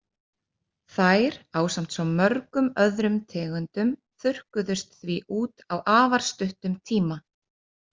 Þær, ásamt svo mörgum öðrum tegundum, þurrkuðust því út á afar stuttum tíma.